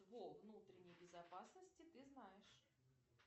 внутренней безопасности ты знаешь